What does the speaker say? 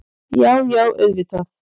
Já, já auðvitað.